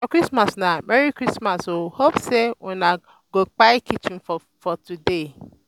for christmas na "merry christmas o hope say una go kpai chicken for today?"